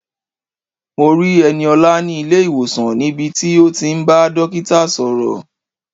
Mo rí Ẹniọlá ní ilé-ìwòsàn níbi tí ó ti ń bá dókítà sọ̀rọ̀.